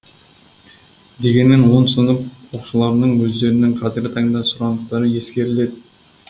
дегенмен он сынып оқушыларының өздерінің қазіргі таңда сұраныстары ескеріледі